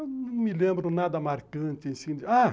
Eu não me lembro nada marcante assim. Ah